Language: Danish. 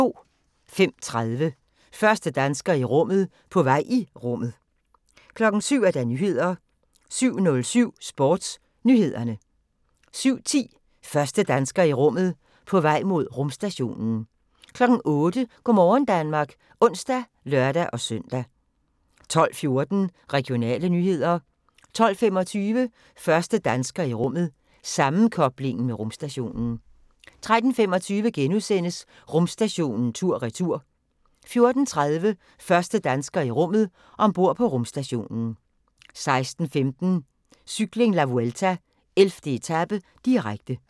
05:30: Første dansker i rummet – på vej i rummet 07:00: Nyhederne 07:07: SportsNyhederne 07:10: Første dansker i rummet – på vej mod rumstationen 08:00: Go' morgen Danmark (ons og lør-søn) 12:14: Regionale nyheder 12:25: Første dansker i rummet – sammenkobling med rumstationen 13:25: Rumstationen tur/retur * 14:30: Første dansker i rummet – ombord på rumstationen 16:15: Cykling: La Vuelta - 11. etape, direkte